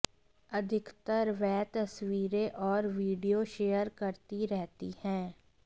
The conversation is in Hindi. अधिकतर वह तस्वीरें और वीडियो शेयर करती रहती हैं